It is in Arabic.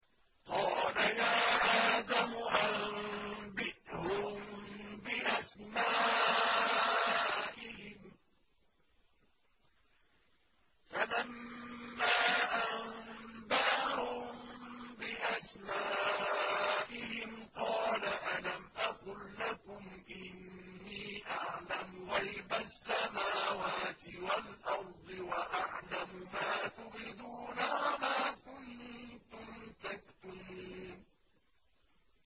قَالَ يَا آدَمُ أَنبِئْهُم بِأَسْمَائِهِمْ ۖ فَلَمَّا أَنبَأَهُم بِأَسْمَائِهِمْ قَالَ أَلَمْ أَقُل لَّكُمْ إِنِّي أَعْلَمُ غَيْبَ السَّمَاوَاتِ وَالْأَرْضِ وَأَعْلَمُ مَا تُبْدُونَ وَمَا كُنتُمْ تَكْتُمُونَ